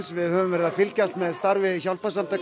við höfum verið að fylgjast með starfi hjálparsamtaka